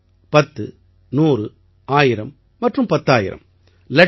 ஒன்று பத்து நூறு ஆயிரம் மற்றும் பத்தாயிரம்